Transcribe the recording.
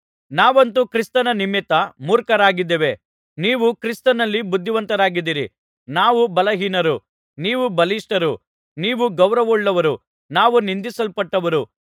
ನಾವಂತೂ ಕ್ರಿಸ್ತನ ನಿಮಿತ್ತ ಮೂರ್ಖರಾಗಿದ್ದೇವೆ ನೀವೋ ಕ್ರಿಸ್ತನಲ್ಲಿ ಬುದ್ಧಿವಂತರಾಗಿದ್ದೀರಿ ನಾವು ಬಲಹೀನರು ನೀವು ಬಲಿಷ್ಠರು ನೀವು ಗೌರವವುಳ್ಳವರು ನಾವು ನಿಂದಿಸಲ್ಪಟ್ಟವರು